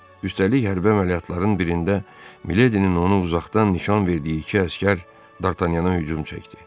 Üstəlik, hərbi əməliyyatların birində Miledinin onu uzaqdan nişan verdiyi iki əsgər Dartanyana hücum çəkdi.